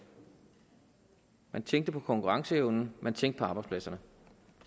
man tænkte på konkurrenceevnen man tænkte på arbejdspladserne